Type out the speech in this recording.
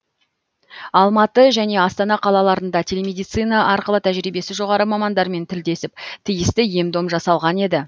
алматы және астана қалаларында телемедицина арқылы тәжірибесі жоғары мамандармен тілдесіп тиісті ем дом жасалған еді